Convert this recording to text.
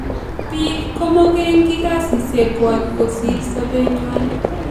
Biik ko komogengi kasisyek kywak kosir sopenywan